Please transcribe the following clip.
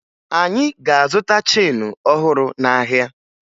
Anyị ga-azụta cheenu ọhụrụ n'ahịa